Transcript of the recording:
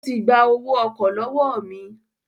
Ó ti gba owó ọkọ̀ lọ́wọ́ mi